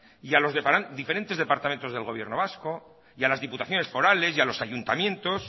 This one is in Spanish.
y a los diferentes departamentos del gobierno vasco a las diputaciones forales a los ayuntamientos